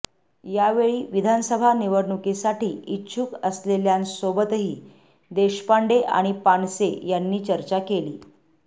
यावेळी विधानसभा निवडणुकीसाठी इच्छुक असलेल्यांसोबतही देशपांडे आणि पानसे यांनी चर्चा केली